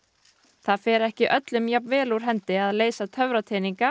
það fer ekki öllum jafn vel úr hendi að leysa